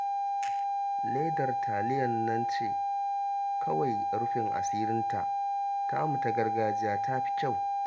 Ledar taliyar nan ce kawai rufin asirinta, tamu ta gargajiya ta fi kyau